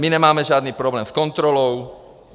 My nemáme žádný problém s kontrolou.